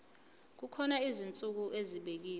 kukhona izinsuku ezibekiwe